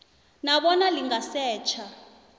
na bona lingasetjha